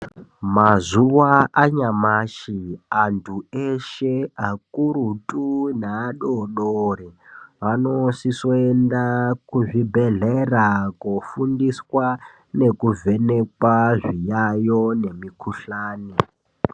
Mazuwa anyamashi, antu eshe, akurutu neadodori anosisoenda kuzvibhedhlera, koofundiswa nekuvhenekwa zviyaiyo nemikhuhlane.